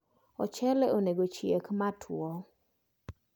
Ochele onego cheak matuo